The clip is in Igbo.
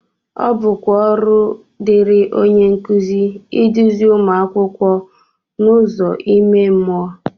ọ bụkwa ọrụ dịịrị onye nkụzi iduzi ụmụ akwụkwọ n’ụzọ ime mmụọ